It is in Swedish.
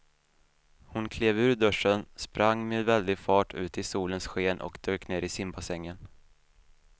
Hon klev ur duschen, sprang med väldig fart ut i solens sken och dök ner i simbassängen.